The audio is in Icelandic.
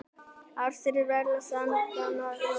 Árstíðasveifla staðvindanna- jólabarnið